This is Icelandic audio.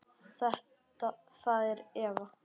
Það er Eva.